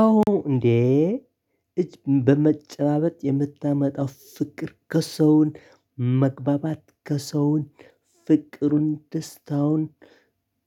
አዎ እንዴ እጅ በመጨባበጥ የምታመጣው ፍቅር ከሰውን መግባባት ከሰውን ፍቅሩን ደስታውን